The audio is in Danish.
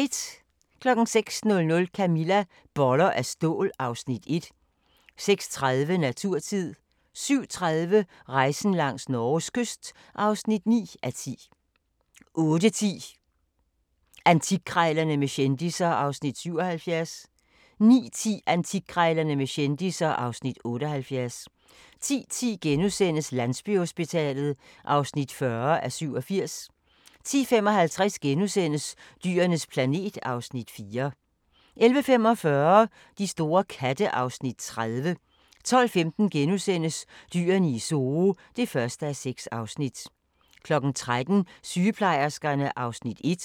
06:00: Camilla - boller af stål (Afs. 1) 06:30: Naturtid 07:30: Rejsen langs Norges kyst (9:10) 08:10: Antikkrejlerne med kendisser (Afs. 77) 09:10: Antikkrejlerne med kendisser (Afs. 78) 10:10: Landsbyhospitalet (40:87)* 10:55: Dyrenes planet (Afs. 4)* 11:45: De store katte (Afs. 30) 12:15: Dyrene i Zoo (1:6)* 13:00: Sygeplejerskerne (Afs. 1)